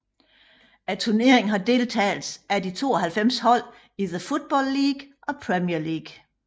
Turneringen har deltagelse af de 92 hold i The Football League og Premier League